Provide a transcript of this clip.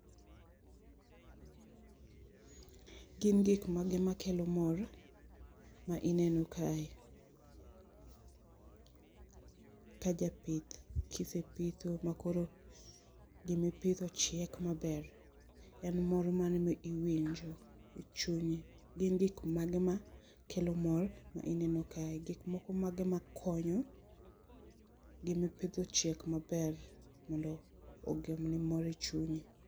question repeated